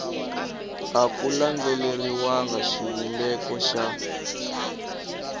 a ku landzeleriwanga xivumbeko xa